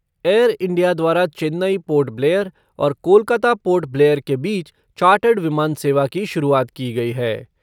Air India द्वारा Chennai Port Blair और Kolkata Port Blair के बीच चार्टर्ड विमान सेवा की शुरुआत की गई है।